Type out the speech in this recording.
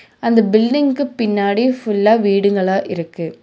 அந்த பில்டிங்கு பின்னாடி ஃபுல்லா வீடுங்கலா இருக்கு.